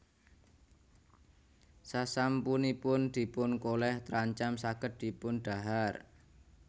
Sasampunipun dipun kolèh trancam saged dipun dhahar